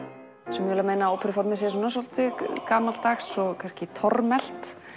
sumir vilja meina að óperuformið sé svolítið gamaldags og kannski tormelt